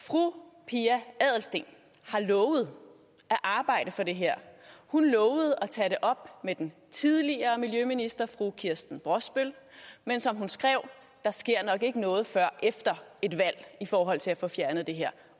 fru pia adelsteen har lovet at arbejde for det her hun lovede at tage det op med den tidligere miljøminister fru kirsten brosbøl men som hun skrev der sker nok ikke noget før efter et valg i forhold til at få fjernet det her